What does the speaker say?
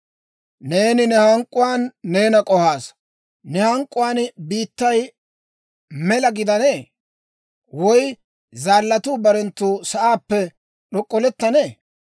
Neeni ne hank'k'uwaan neena k'ohaasa. Ne hank'k'uwaan biittay mela gidanee? Woy zaallatuu barenttu sa'aappe d'ok'k'olettanee?